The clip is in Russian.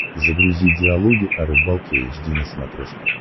загрузи диалоги о рыбалке эйч ди на смотрешке